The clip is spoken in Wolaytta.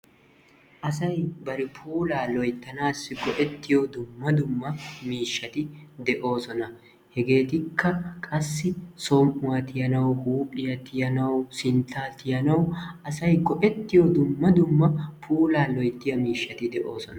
Asay bari puulaa loyttanassi go''ettiyo dumma dumma miishshati de'oosona. hegetikka qassi som''uwaa tiyanawu, huuphphiyaa tiyanawu, sintta tiyanawu go''ettiyo dumma dumma puulaa loyttiya miishshati de'oosona.